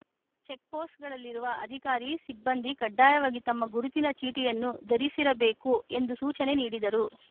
check ಪೋಸ್ಟ್‌ಗಳಲ್ಲಿರುವ ಅಧಿಕಾರಿ ಸಿಬ್ಬಂದಿ ಕಡ್ಡಾಯವಾಗಿ ತಮ್ಮ ಗುರುತಿನ ಚೀಟಿಯನ್ನು ಧರಿಸಿರಬೇಕು ಎಂದು ಸೂಚನೆ ನೀಡಿದರು